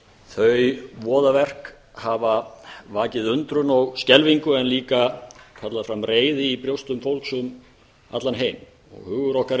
þau voðaverk hafa vakið undrun og skelfingu en líka kallað fram reiði í brjóstum fólks um allan heim og hugur okkar er